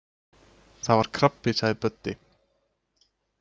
Það var krabbi sagði Böddi.